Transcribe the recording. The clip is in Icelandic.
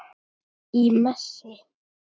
Í messi.